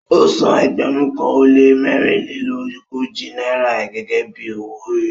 Ọ́ sàn ẹgbérùn kan o le mẹ̀rìnlẹ̀lọ́gójì Naira gẹ́gẹ́ bí ọwọ-òrì